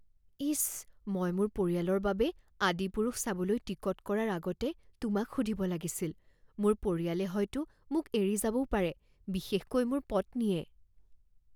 ইচ! মই মোৰ পৰিয়ালৰ বাবে 'আদিপুৰুষ' চাবলৈ টিকট কৰাৰ আগতে তোমাক সুধিব লাগিছিল। মোৰ পৰিয়ালে হয়তো মোক এৰি যাবও পাৰে, বিশেষকৈ মোৰ পত্নীয়ে।